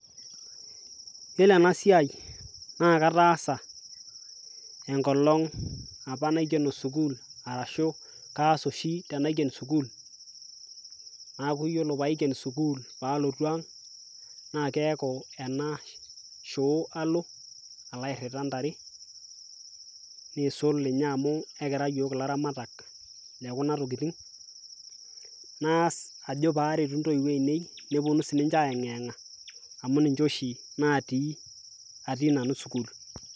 Iyiolo ena siai naake ataasa enkolong' apa naikeno sukuul arashu kaas oshi tenaiken sukuul, naaku iyiolo paiken sukuul aalotu aang' naaku ena shoo alo nalo airira ntare nisul ninye amu kekira iyiok ilaramatak le kuna tokitin, naas ajo paaretu ntoiwuo ainei pee eponu sininje aiyeng'yeng'a amu ninje oshi natii ati nanu sukuul.